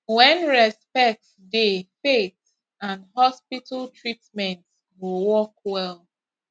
when respect dey faith and hospital treatment go work well